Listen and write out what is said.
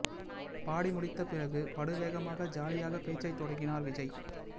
பாடி முடித்த பிறகு படு வேகமாக ஜாலியாக பேச்சைத் தொடங்கினார் விஜய்